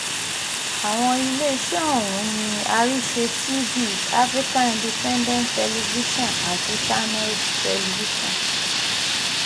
àwọn iléeṣẹ́ ọ̀hún ni àrísẹ̀ T-V african independent television àti channels television